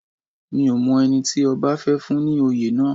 Mi ò mọ ẹni tí ọba fẹ́ fún ní oyè náà